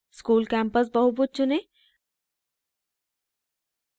school campus बहुभुज चुनें